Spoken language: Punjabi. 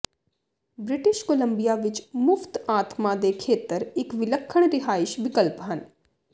ਬ੍ਰਿਟਿਸ਼ ਕੋਲੰਬੀਆ ਵਿੱਚ ਮੁਫਤ ਆਤਮਾ ਦੇ ਖੇਤਰ ਇੱਕ ਵਿਲੱਖਣ ਰਿਹਾਇਸ਼ ਵਿਕਲਪ ਹਨ